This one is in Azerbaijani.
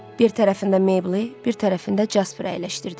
Bir tərəfində Mebeli, bir tərəfində Jasperi əyləşdirdi.